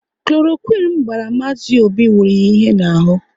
Kloroquine m gbara Mazi Obi wuru ya ihe n'ahụ